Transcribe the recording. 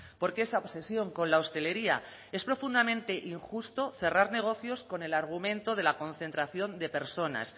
por qué esa obsesión con la hostelería es profundamente injusto cerrar negocios con el argumento de la concentración de personas